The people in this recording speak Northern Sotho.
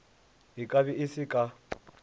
e kabe e se ka